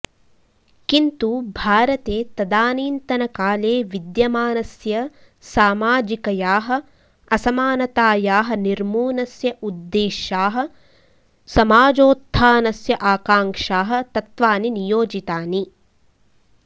किन्तु भारते तदानीन्तनकाले विद्यमानस्य सामाजिकयाः असमानतायाः निर्मूनस्य उद्देशाः समाजोत्थानस्य आकाङ्क्षाः तत्त्वानि नियोजितानि